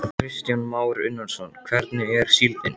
Kristján Már Unnarsson: Hvernig er síldin?